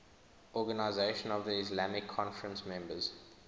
organisation of the islamic conference members